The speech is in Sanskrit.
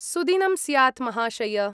सुदिनं स्यात् महाशय!